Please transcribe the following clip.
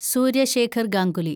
Surya Shekhar Ganguly